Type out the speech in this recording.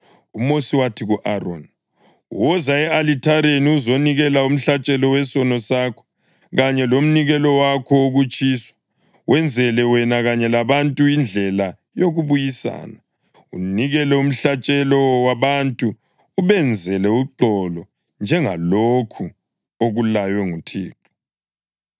UMosi wathi ku-Aroni, “Woza e-alithareni uzonikela umhlatshelo wesono sakho kanye lomnikelo wakho wokutshiswa, wenzele wena kanye labantu indlela yokubuyisana. Unikele umhlatshelo wabantu ubenzele uxolo njengalokhu okulaywe nguThixo.”